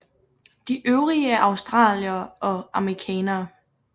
De øvrige er australiere og amerikanere